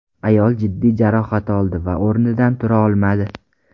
Ayol jiddiy jarohat oldi va o‘rnidan tura olmadi.